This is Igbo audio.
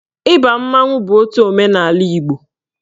Ịba mmanwụ bụ otu omenaala Igbo